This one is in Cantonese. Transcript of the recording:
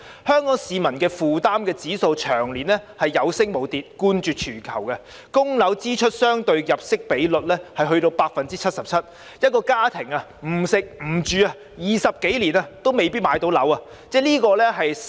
香港市民置業的負擔指數長年有升無跌，冠絕全球，供樓支出相對入息的比率達 77%， 一個家庭不吃不喝20多年也未必能夠買樓。